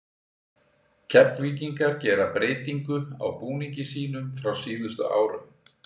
Keflvíkingar gera breytingu á búningi sínum frá síðustu árum.